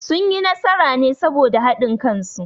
Sun yi nasara ne saboda haɗin kan su